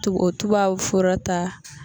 Tubo o tubabu fura ta.